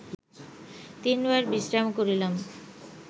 তিনবার বিশ্রাম করিলাম